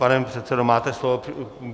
Pane předsedo, máte slovo.